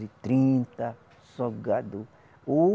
E trinta só gado, ou